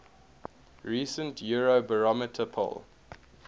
recent eurobarometer poll